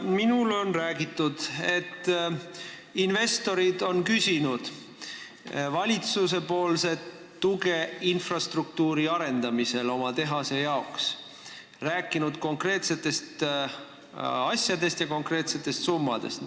Minule on räägitud, et investorid on küsinud valitsuse tuge infrastruktuuri arendamiseks oma tehase jaoks, nad on rääkinud konkreetsetest asjadest ja konkreetsetest summadest.